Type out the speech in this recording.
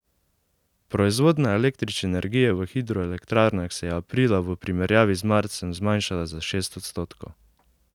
Proizvodnja električne energije v hidroelektrarnah se je aprila v primerjavi z marcem zmanjšala za šest odstotkov.